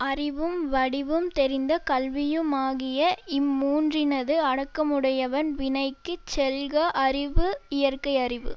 அறிவும் வடிவும் தெரிந்த கல்வியுமாகிய இம் மூன்றினது அடக்கமுடையவன் வினைக்குச் செல்க அறிவு இயற்கையறிவு